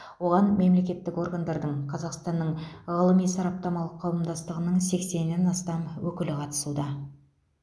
оған мемлекеттік органдардың қазақстанның ғылыми сараптамалық қауымдастығының сексеннен астам өкілі қатысуда